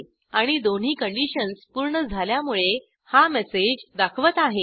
आणि दोन्ही कंडिशन्स पूर्ण झाल्यामुळे हा मेसेज दाखवत आहे